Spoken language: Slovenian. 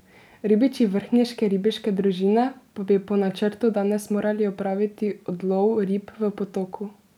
Ribiči vrhniške ribiške družine pa bi po načrtu danes morali opraviti odlov rib v potoku.